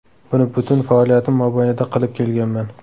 Buni butun faoliyatim mobaynida qilib kelganman.